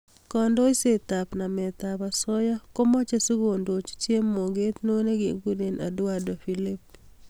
Kandoishet ab namet ab asoya komeche sikondoch chemoget neo nekekuree, Edouard phillipe.